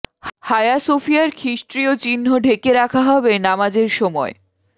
হায়া সোফিয়ার খ্রিষ্টীয় চিহ্ন ঢেকে রাখা হবে নামাজের সময়